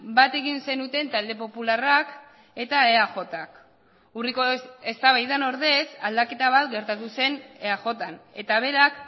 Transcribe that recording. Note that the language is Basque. bat egin zenuten talde popularrak eta eajk urriko eztabaidan ordez aldaketa bat gertatu zen eajn eta berak